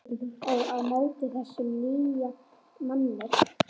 Og á móti þessum nýja manni.